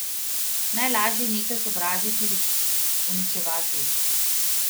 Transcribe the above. Najlaže je nekaj sovražiti, uničevati.